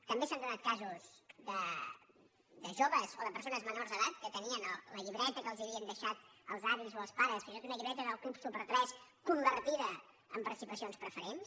també s’han donat casos de joves o de persones me·nors d’edat que tenien la llibreta que els havien deixat els avis o els pares fins i tot una llibreta del club su·per3 convertida en participacions preferents